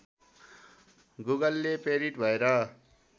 गुगलले प्रेरित भएर